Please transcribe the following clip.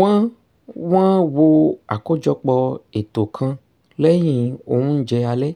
wọ́n wọ́n wo àkójọpò ètò kan lẹ́yìn oúnjẹ alẹ́